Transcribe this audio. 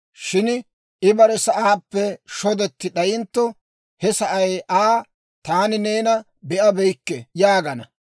Shin I bare sa'aappe shodetti d'ayintto, he sa'ay Aa, ‹Taani neena be'abeyikke› yaagana.